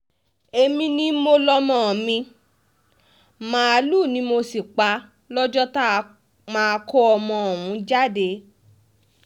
èmi ni mo lọ́mọ mi màálùú ni mo sì pa lọ́jọ́ tá a máa kó ọmọ ọ̀hún jáde